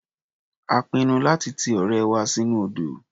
A pinnu láti ti ọ̀rẹ́ wa sínú odò.